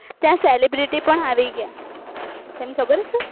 ત્યાં celebriety પણ આવી ગયા